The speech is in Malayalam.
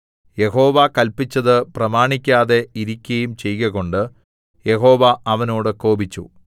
യഹോവ കല്പിച്ചത് പ്രമാണിക്കാതെ ഇരിക്കയും ചെയ്കകൊണ്ട് യഹോവ അവനോട് കോപിച്ചു